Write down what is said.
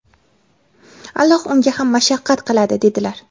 Alloh unga ham mashaqqat qiladi", - dedilar".